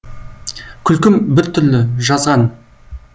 күлкім бір түрлі жазған